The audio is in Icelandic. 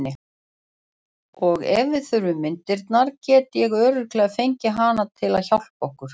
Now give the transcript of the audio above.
Og ef við þurfum myndirnar get ég örugglega fengið hana til að hjálpa okkur.